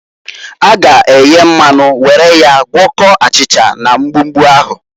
A ga eye mmanu were ya gwọkọọ achịcha na mgbumgbu ahu.